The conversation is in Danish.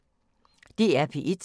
DR P1